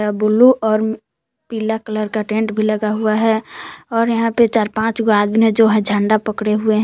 Blue और पीला colour का टेंट भी लगा हुआ है और यहां पर चार पांच आदमी है जो है झंडा पड़े हुए हैं।